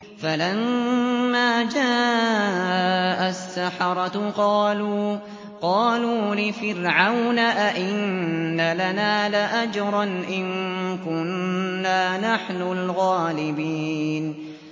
فَلَمَّا جَاءَ السَّحَرَةُ قَالُوا لِفِرْعَوْنَ أَئِنَّ لَنَا لَأَجْرًا إِن كُنَّا نَحْنُ الْغَالِبِينَ